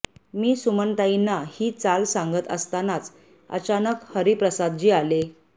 मी सुमनताईंना ही चाल सांगत असतानाच अचानक हरिप्रसादजी आले